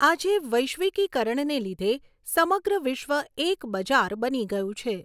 આજે વૈશ્વિકીકરણને લીધે સમગ્ર વિશ્વ એક બજાર બની ગયું છે.